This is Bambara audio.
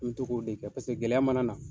N m'i to k'o de kɛ paseke gɛlɛya mana na